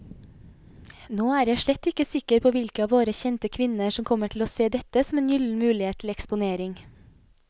Nå er jeg slett ikke sikker på hvilke av våre kjente kvinner som kommer til å se dette som en gyllen mulighet til eksponering.